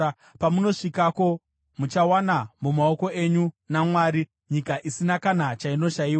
Pamunosvikako muchawana mumaoko enyu naMwari, nyika isina kana chainoshayiwa.”